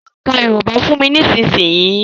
Ka òǹkà Yorùbá fún mi nísìnyìí.